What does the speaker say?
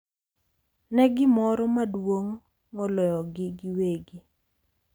Ne gimoro maduong’ moloyogi giwegi.